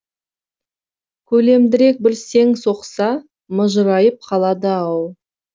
көлемдірек бір сең соқса мыжырайып қалады ау